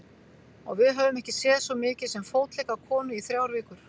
Og við höfum ekki séð svo mikið sem fótlegg af konu í þrjár vikur.